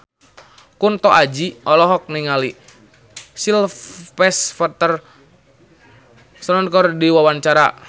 Kunto Aji olohok ningali Sylvester Stallone keur diwawancara